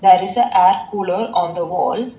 There is a air cooler on the wall.